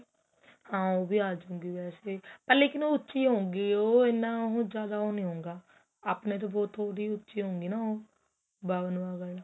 ਹਾਂ ਉਹ ਵੀ ਆਜੁਗੀ ਪਰ ਲੇਕਿਨ ਉਹ ਉੱਚੀ ਹੋਊਗੀ ਉਹ ਏਨਾ ਉਹ ਜਿਆਦਾ ਉਹ ਨਹੀਂ ਹੋਊਗਾ ਆਪਣੇਂ ਤੋ ਬਹੁਤ ਥੋੜੀ ਉੱਚੀ ਹੋਊਗੀ ਉਹ